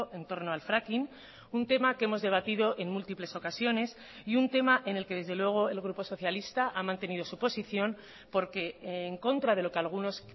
en torno al fracking un tema que hemos debatido en múltiples ocasiones y un tema en el que desde luego el grupo socialista ha mantenido su posición porque en contra de lo que algunos